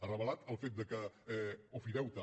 ha revelat el fet que ofideute